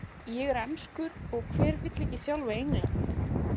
Ég er enskur og hver vill ekki þjálfa England?